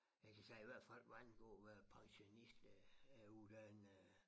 Jeg kan sige i hvert fald hvad angår at være pensionist øh jeg er uddannet øh